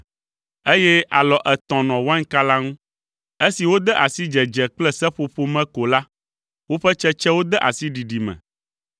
eye alɔ etɔ̃ nɔ wainka la ŋu. Esi wode asi dzedze kple seƒoƒo me ko la, woƒe tsetsewo de asi ɖiɖi me.